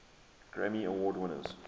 grammy award winners